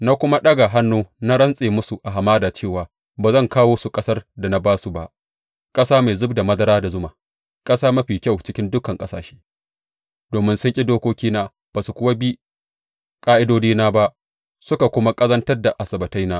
Na kuma ɗaga hannu na rantse musu a hamada cewa ba zan kawo su ƙasar da na ba su ba, ƙasa mai zub da madara da zuma, ƙasa mafi kyau cikin dukan ƙasashe, domin sun ƙi dokokina ba su kuwa bi ƙa’idodina ba suka kuma ƙazantar da Asabbataina.